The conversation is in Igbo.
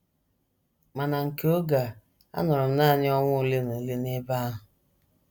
Ma na nke oge a, anọrọ m nanị ọnwa ole na ole n’ebe ahụ.